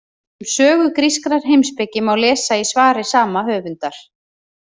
Um sögu grískrar heimspeki má lesa í svari sama höfundar.